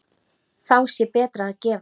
Þá sé betra að gefa.